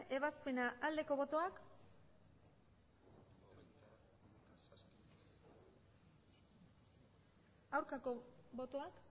ebazpena aldeko botoak aurkako botoak